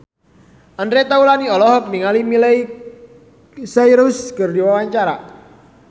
Andre Taulany olohok ningali Miley Cyrus keur diwawancara